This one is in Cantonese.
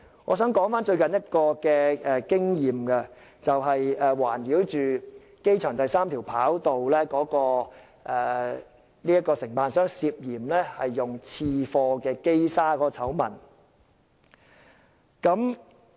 我想談談最近一次經驗，那就是圍繞機場第三條跑道的承辦商涉嫌使用次貨機砂的醜聞。